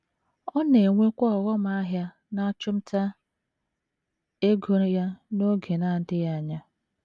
Ọ na - enwekwa ọghọm ahịa n’achụmnta ego ya n’oge na - adịghị anya.